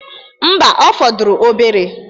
Mba, ọ fọdụrụ obere.